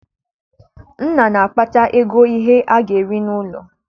Nna na-akpata ego ihe a ga-eri n'ụlọ